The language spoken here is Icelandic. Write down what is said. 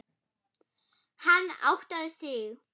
Hann áttaði sig.